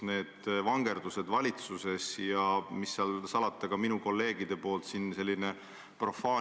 Te olite Tallinnas mere ääres, seisite ja vaatasite mõtlikult Soome poole ning ütlesite, et siia see tunnel peab tulema.